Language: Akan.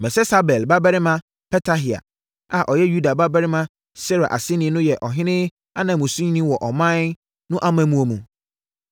Mesesabel babarima Petahia a ɔyɛ Yuda babarima Serah aseni no yɛ ɔhene ananmusini wɔ ɔman no amammuo mu.